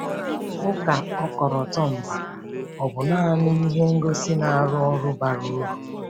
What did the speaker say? ụka ọkọlọtọ mba ọ̀ bụ naanị ihe ngosi na-arụ ọrụ bara uru?